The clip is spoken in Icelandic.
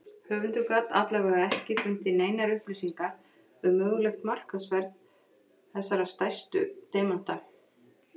Höfundur gat alla vega ekki fundið neinar upplýsingar um mögulegt markaðsverð þessara stærstu demanta.